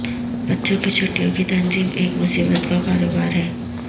بچوں کی چھٹیوں کی تنظیم ایک مصیبت کا کاروبار ہے